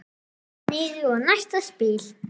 Einn niður og næsta spil.